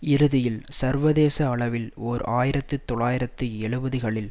இறுதியில் சர்வதேச அளவில் ஓர் ஆயிரத்து தொள்ளாயிரத்தி எழுபதுகளில்